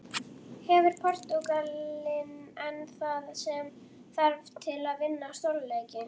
Hefur Portúgalinn enn það sem þarf til að vinna stórleiki?